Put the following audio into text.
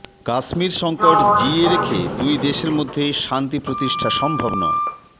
কাশ্মীর সংকট জিইয়ে রেখে দুই দেশের মধ্যে শান্তি প্রতিষ্ঠা সম্ভব নয়